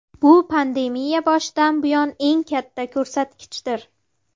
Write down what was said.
Bu pandemiya boshidan buyon eng katta ko‘rsatkichdir.